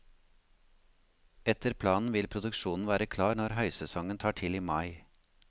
Etter planen vil produksjonen være klar når høysesongen tar til i mai.